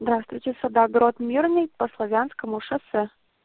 здравствуйте садоогород мирный по славянскому шоссе